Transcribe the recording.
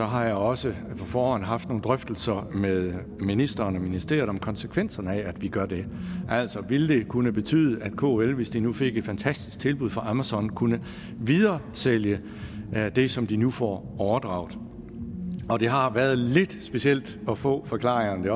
har jeg også på forhånd haft nogle drøftelser med ministeren og ministeriet om konsekvenserne af at vi gør det altså ville det kunne betyde at kl hvis de nu fik et fantastisk tilbud fra amazon kunne videresælge det som de nu får overdraget det har været lidt specielt at få forklaringerne det